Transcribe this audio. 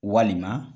Walima